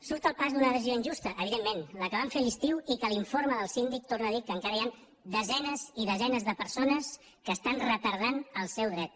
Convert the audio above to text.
surt al pas d’una decisió injusta evidentment la que van fer a l’estiu i que l’informe del síndic torna a dir que encara hi han desenes i desenes de persones que estan retardant el seu dret